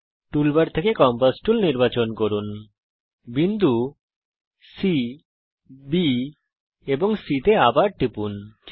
টুল bar থেকে compass tool নির্বাচন করুন বিন্দু সি B তে এবং চিত্র সম্পূর্ণ করার জন্য C তে আবার টিপুন